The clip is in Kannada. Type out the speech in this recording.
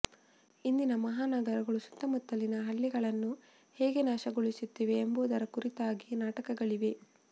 ಇಂದಿನ ಮಹಾನಗರಗಳು ಸುತ್ತಮುತ್ತಲಿನ ಹಳ್ಳಿಗಳನ್ನು ಹೇಗೆ ನಾಶಗೊಳಿಸುತ್ತಿವೆ ಎಂಬುದರ ಕುರಿತಾಗಿ ನಾಟಕಗಳಿವೆ